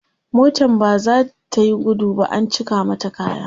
motan baza tayi gudu ba an cika mata kaya